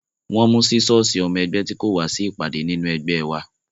Wọ́n mú sísọ́ọ̀sì ọmọ ẹgbẹ́ tí kò wá sí ìpàdé nínú ẹgbẹ́ ẹ wa